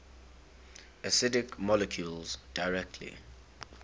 acidic molecules directly